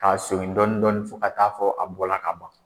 Ka segin dɔɔnin dɔɔnin fo ka taa fɔ a bɔra ka ban